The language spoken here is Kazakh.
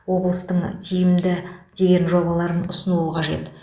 облыстың тиімді деген жобаларын ұсыну қажет